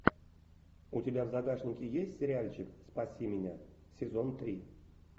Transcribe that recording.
у тебя в загашнике есть сериальчик спаси меня сезон три